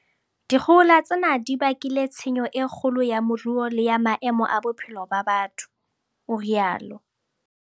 "Dikgohola tsena di bakile tshenyo e kgolo ya moruo le ya maemo a bophelo ba batho," o rialo